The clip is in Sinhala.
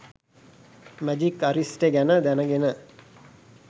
“මැජික් අරිෂ්ටෙ” ගැන දැනගෙන